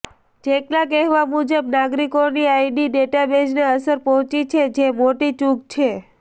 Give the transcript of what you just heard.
જેકના કહેવા મુજબ નાગરિકોની આઈડી ડેટાબેજને અસર પહોંચી છે જે મોટી ચૂક છે